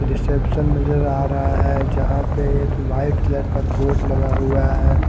Reception नजर आ रहा है जहां पे एक व्हाइट कलर का बोर्ड लगा हुआ है।